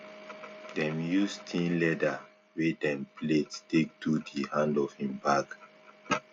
dem use thin leather wey dem plait take do di hand of him bag